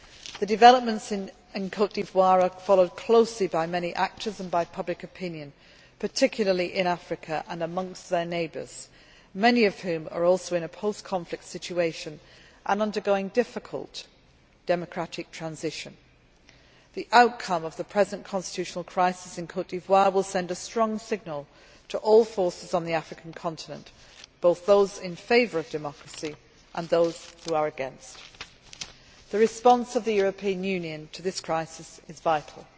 The developments in Côte d'Ivoire are being followed closely by many actors and by public opinion, particularly in Africa and especially in neighbouring countries, many of which are also in a post conflict situation and undergoing difficult democratic transition. The outcome of the present constitutional crisis in Côte d'Ivoire will send a strong signal to all forces on the African continent, both those in favour of democracy and those who are against. The response of the European Union to this crisis is vital.